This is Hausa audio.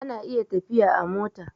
ana iya tafiya a mota